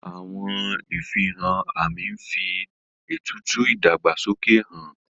Àwọn ìfihàn àmì ń fi ètùtù ìdàgbàsókè han